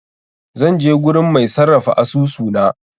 Zan je gurin mai sarrafa asusu na.